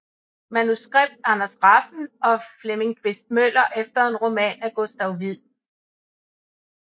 Manuskript Anders Refn og Flemming Quist Møller efter en roman af Gustav Wied